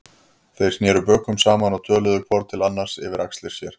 Þeir sneru bökum saman og töluðu hvor til annars yfir axlir sér.